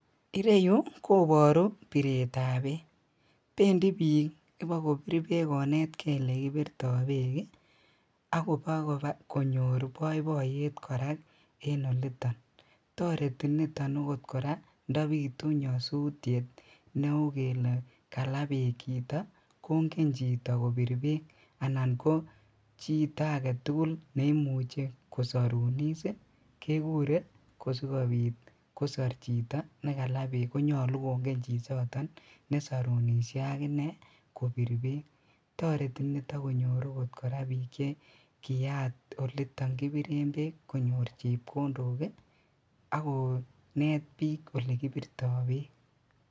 Ireyu koboru biretab beek bendi bik ibakonetkee elekibirto beek ii akobaa konyor boiboiyet en oliton, toreti okot niton koraa ndobitu nyosutiet neu kele kala beek chito kongen chito kobir beek anan chito agetugul neimuche kosorunis ii kekuree asikobit kosor chito nekalaa beek konyolu kongen chichoton nesorunishe akinee kobir beek, toreti okot niton konyor bik chekiyaat oliton kibiren beek konyor chepkondok ii ak konet bik ole kibirto beek .